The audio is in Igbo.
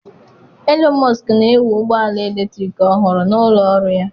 Elon Musk na-ewu ụgbọ ala eletrik ọhụrụ na ụlọ ọrụ ya.